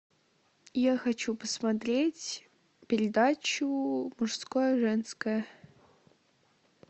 я хочу посмотреть передачу мужское женское